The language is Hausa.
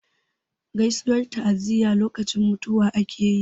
Gaisuwar ta'aziyya lokacin mutuwa ake yi.